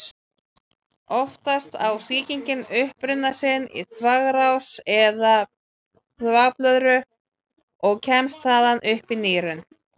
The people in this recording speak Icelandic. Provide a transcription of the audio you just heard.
Oftast á sýkingin uppruna sinn í þvagrás eða þvagblöðru og kemst þaðan upp í nýrun.